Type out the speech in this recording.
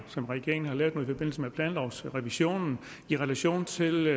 som regeringen har lavet i forbindelse med planlovsrevisionen i relation til